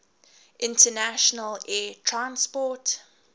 international air transport